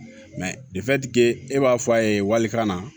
e b'a fɔ a ye walikan na